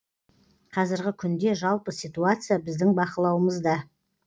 қазіргі күнде жалпы ситуация біздің бақылауымызда